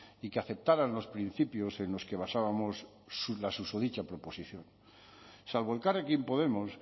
y que aceptaran los principios en los que basábamos la susodicha proposición salvo elkarrekin podemos